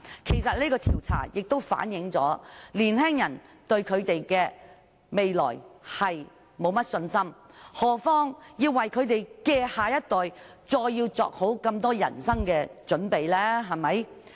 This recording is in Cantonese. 其實這項調查反映了年青人對未來缺乏信心，遑論要為他們的下一代作好人生準備？